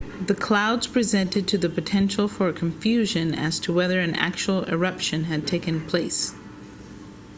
the clouds presented the potential for confusion as to whether an actual eruption had taken place